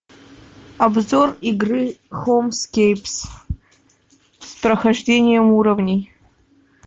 обзор игры хоумскейпс с прохождением уровней